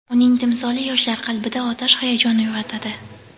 uning timsoli yoshlar qalbida otash hayajon uyg‘otadi.